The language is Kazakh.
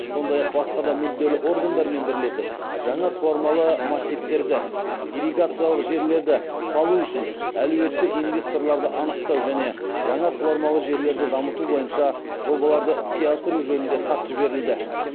сондай ақ басқа да мүдделі органдармен бірлесіп жаңа суармалы массивтерді ирригациялық желілерді салу үшін әлеуетті инвесторларды анықтау және жаңа суармалы жерлерді дамыту бойынша жобаларды іске асыру жөнінде хат жіберілді